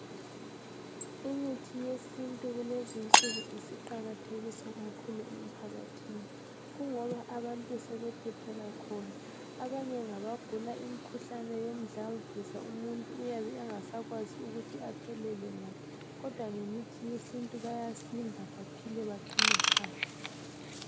Imithi yesintu kulezi insuku isiqakathekiswa kakhulu emphakathini. Kungoba abahtu sebephephela khona. Abanye ngabagula imkhuhlane yomdlavuza, umuntu uyabe engasakwazi ukuthi aphelele ngaphi. Kodwa ngemithi yesintu, bayasinda. Baqine saka!